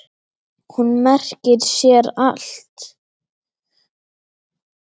Hún merkir sér allt.